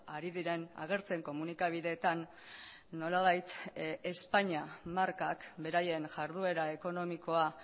ari diren agertzen komunikabideetan nolabait españa markak beraien jarduera ekonomikoa